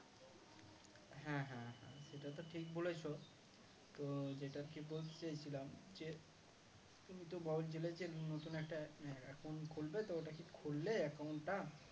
হ্যাঁ হ্যাঁ হ্যাঁ সেটা তো ঠিক বলেছো তো যেটা আরকি বলতে চাইছিলাম যে তুমি তো বলছিলে যে নতুন একটা ac~ account খুলবে তো ওটা কি খুললে account টা